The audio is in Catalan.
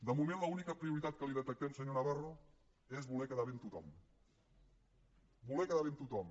de moment l’única prioritat que li detectem senyor navarro és voler quedar bé amb tothom voler quedar bé amb tothom